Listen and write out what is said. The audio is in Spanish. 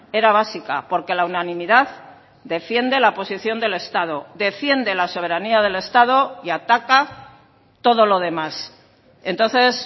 era básica porque la unanimidad defiende la posición del estado defiende la soberanía del estado y ataca todo lo demás entonces